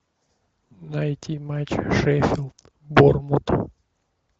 найти матч шеффилд борнмут